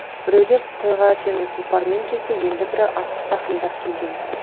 біреулер тойға темір тұлпармен келсе енді бірі атты тақымдап келген